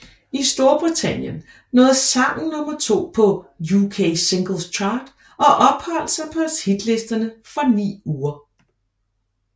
I Storbritannien nåede sangen nummer to på UK Singles Chart og opholdt sig på hitlisterne for ni uger